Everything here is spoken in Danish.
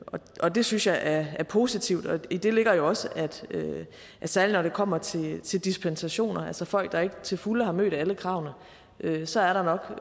og det synes jeg er positivt og i det ligger jo også at særlig når det kommer til til dispensationer altså folk der ikke til fulde har mødt alle kravene så er der